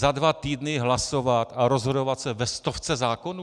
Za dva týdny hlasovat a rozhodovat se ve stovce zákonů?